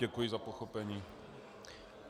Děkuji za pochopení.